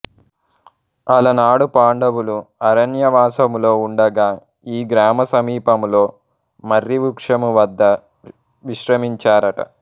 అలనాడు పాండవులు అరణ్యవాసములో ఉండగా ఈ గ్రామ సమీపములో మర్రి వృక్షము వద్ద విశ్రమించారట